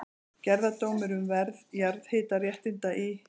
Gerðardómur um verð jarðhitaréttinda í